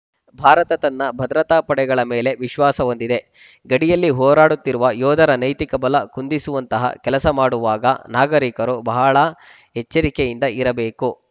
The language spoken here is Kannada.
ಭಾರತ ತನ್ನ ಭದ್ರತಾ ಪಡೆಗಳ ಮೇಲೆ ವಿಶ್ವಾಸ ಹೊಂದಿದೆ ಗಡಿಯಲ್ಲಿ ಹೋರಾಡುತ್ತಿರುವ ಯೋಧರ ನೈತಿಕ ಬಲ ಕುಂದಿಸುವಂತಹ ಕೆಲಸ ಮಾಡುವಾಗ ನಾಗರಿಕರು ಬಹಳ ಎಚ್ಚರಿಕೆಯಿಂದ ಇರಬೇಕು